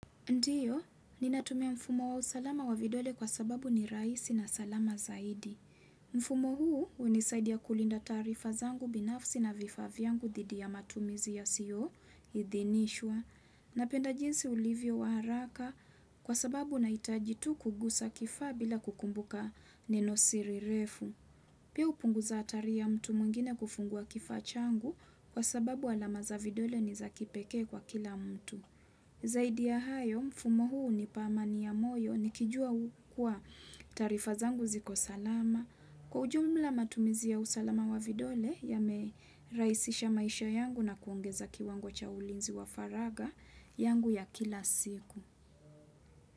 Ndiyo, ninatumia mfumo wa usalama wa vidole kwa sababu ni rahisi na salama zaidi. Mfumo huu hunisaidia kulinda taarifa zangu binafsi na vifaa vyangu dhidi ya matumizi yasiyo, idhinishwa, napenda jinsi ulivyo wa haraka kwa sababu nahitaji tu kugusa kifaa bila kukumbuka nenosiri refu. Pia hupunguza hatari ya mtu mwingine kufungua kifaa changu kwa sababu alama za vidole ni za kipekee kwa kila mtu. Zaidi ya hayo mfumo huu hunipa amani ya moyo nikijua kuwa taarifa zangu ziko salama Kwa ujumla matumizi ya usalama wa vidole yamerahisisha maisha yangu na kuongeza kiwango cha ulinzi wa faragha yangu ya kila siku.